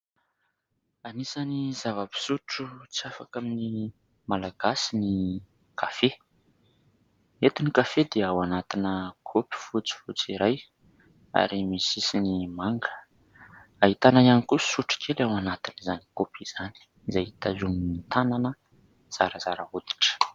Anisan'ny zava-pisotro tsy afaka amin'ny malagasy ny kafe. Eto ny kafe dia ao anatina kopy fotsifotsy iray ary misy sisiny manga, ahitana ihany koa sotro kely ao anatin'izany kopy izany izay tazomin'ny tanana zarazara hoditra.